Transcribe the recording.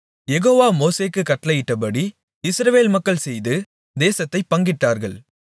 யெகோவா மோசேக்குக் கட்டளையிட்டபடி இஸ்ரவேல் மக்கள் செய்து தேசத்தைப் பங்கிட்டார்கள்